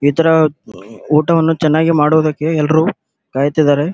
ಇತರ ಊಟವನ್ನು ಚನ್ನಾಗಿ ಮಾಡುವುದಕ್ಕೆ ಎಲ್ಲರು ಕಾಯತ್ತಿದರೆ.